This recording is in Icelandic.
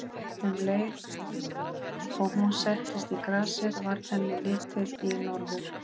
Um leið og hún settist í grasið varð henni litið í norður.